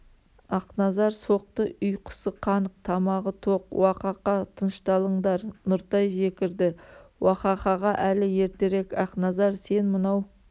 ақназар соқты ұйқысы қанық тамағы тоқ уа-қа-қа тынышталыңдар нұртай жекірді уахахаға әлі ертерек ақназар сен мынау